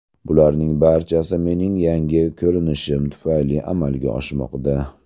Bularning barchasi mening yangi ko‘rinishim tufayli amalga oshmoqda.